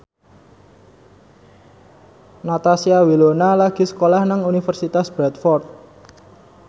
Natasha Wilona lagi sekolah nang Universitas Bradford